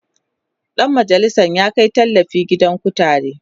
Dan majalisan ya Kai tallafi gidan kutare